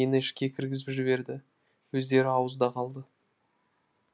мені ішке кіргізіп жіберіп өздері ауызда қалды